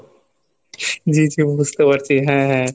জি জি বুঝতে পারছি হ্যাঁ হ্যাঁ